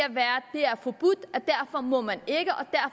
derfor må man ikke